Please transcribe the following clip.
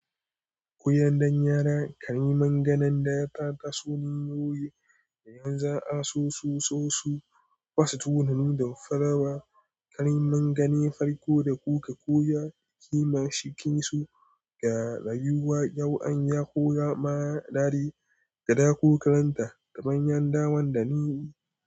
Kunyan dan yara kariman ganen da ya taso ne a yoyi da yanzu za a sosu sosu kwasu tunanin da farawa. Kariman gane farko da kuka koya, kima shikin su, garayuwa, yau'an ya, koya ma'adadi, kada ku karanta, kamanyanda wan da ni.